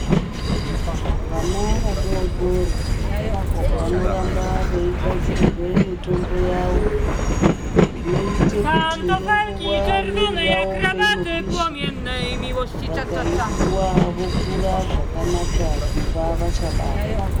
Vana vadoodori vanoramba veigadzirirwe mitombo yavo inoite kuti ngenguwa mwiri yavo peinopisha, vakaipuwa vokura zvakanaka kubva vachabarwa.